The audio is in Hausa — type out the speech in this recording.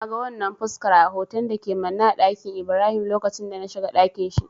Na ga wannan fuskar a hoton da ke manne a ɗakin Ibrahim lokacin da na shiga dakin shi.